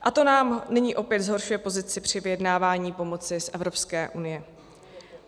A to nám nyní opět zhoršuje pozici při vyjednávání pomoci z Evropské unie.